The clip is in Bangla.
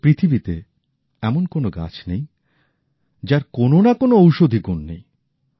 অর্থাৎ পৃথিবীতে এমন কোন গাছ নেই যার কোন না কোন ঔষধি গুণ নেই